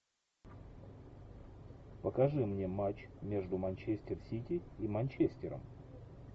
покажи мне матч между манчестер сити и манчестером